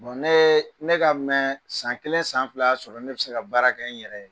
ne ye ne ka mɛnƐ san kelen san fila y'a sɔrɔ ne bɛ se ka baara kɛ n yɛrɛ ye